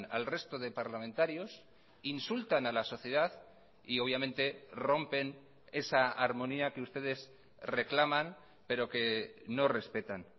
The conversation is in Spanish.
al resto de parlamentarios insultan a la sociedad y obviamente rompen esa armonía que ustedes reclaman pero que no respetan